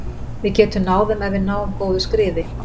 Við getum náð þeim ef við náum góðu skriði.